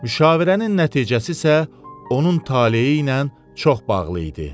Müşavirənin nəticəsi isə onun taleyi ilə çox bağlı idi.